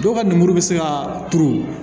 Dɔw ka lemuru bɛ se ka turu